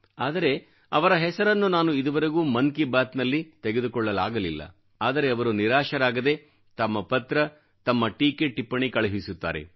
ಆದರೆ ಅವರ ಹೆಸರನ್ನು ನಾನು ಇದುವರೆಗೂ ಮನ್ ಕಿ ಬಾತ್ನಲ್ಲಿ ತೆಗೆದುಕೊಳ್ಳಲಾಗಲಿಲ್ಲ ಆದರೆ ಅವರು ನಿರಾಶರಾಗದೆ ತಮ್ಮ ಪತ್ರ ತಮ್ಮ ಟೀಕೆಟಿಪ್ಪಣಿ ಕಳಿಸುತ್ತಾರೆ